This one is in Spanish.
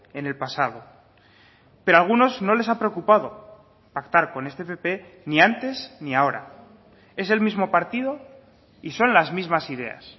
en el pasado pero a algunos no les ha preocupado pactar con este pp ni antes ni ahora es el mismo partido y son las mismas ideas